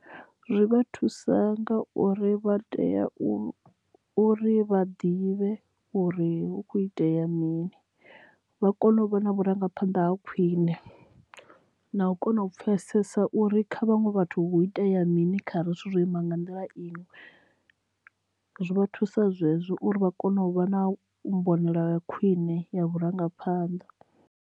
Zwi vha thusa nga uri vha tea u uri vha ḓivhe uri hu kho itea mini vha kone u vha na vhurangaphanḓa ha khwine na u kona u pfesesa uri kha vhaṅwe vhathu hu itea mini kha ri zwithu zwo ima nga nḓila iyi zwi vha thusa zwezwo uri vha kone u vha na mbonele ḽa khwine ya vhurangaphanḓa.